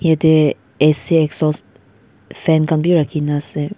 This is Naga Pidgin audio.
Etey ac exhaust fan khan beh rakhe kena ase.